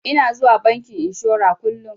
Ina zuwa bankin inshora kullun.